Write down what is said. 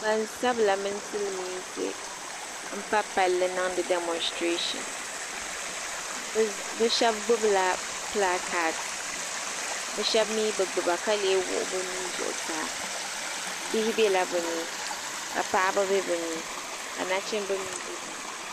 Gban sabila mini silimiinsi n pa palli n niŋɖi damositireeshin bɛ shɛb gbubila bilaakaadbɔɛ shɛbi mi gbuba ka lee wuɣi bɛ nuhi zuɣusaa bihi bɛla bɛni ka paɣaba bɛ ni ka naɣi chinbi gba bɛ bini